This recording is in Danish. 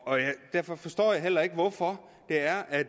derfor forstår jeg heller ikke hvorfor det er at